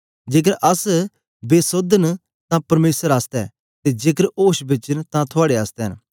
जेकर अस बेसोध न तां परमेसर आसतै ते जेकर ओश बेच न तां थुआड़े आसतै न